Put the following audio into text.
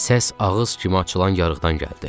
Səs ağız kimi açılan yarıqdan gəldi.